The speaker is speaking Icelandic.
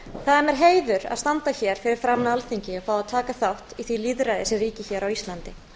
standa hér fyrir framan alþingi og fá að taka þátt í því lýðræði sem ríkir á íslandi